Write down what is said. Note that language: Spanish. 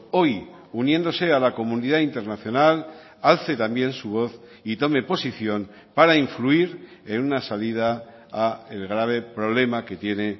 hoy uniéndose a la comunidad internacional alce también su voz y tome posición para influir en una salida al grave problema que tiene